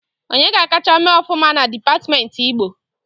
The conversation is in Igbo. Onye ga akacha mee ọfụma na dipatmenti Igbo?